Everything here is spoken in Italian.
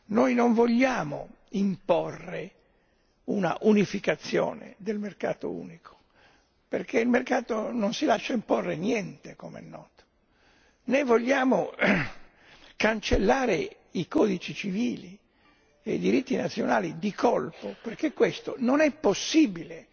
Noi non vogliamo imporre una unificazione del mercato unico, perché il mercato non si lascia imporre niente come è noto né vogliamo cancellare i codici civili e i diritti nazionali di colpo, perché questo non è possibile.